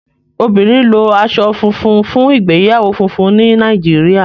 obìnrin lo aṣọ funfun fún ìgbéyàwó fúnfún ní Nàìjíríà.